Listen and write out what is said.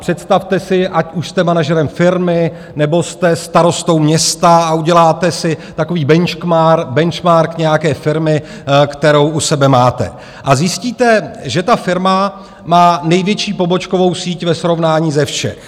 Představte si, ať už jste manažerem firmy, nebo jste starostou města a uděláte si takový benchmark nějaké firmy, kterou u sebe máte, a zjistíte, že ta firma má největší pobočkovou síť ve srovnání ze všech.